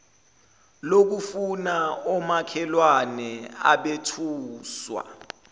lokufa omakhelwane abethuswa